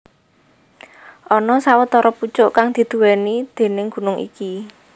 Ana sawetara pucuk kang diduwèni déning gunung iki